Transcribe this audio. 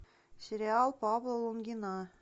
сериал павла лунгина